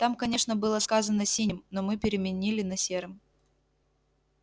там конечно было сказано синим но мы переменили на серым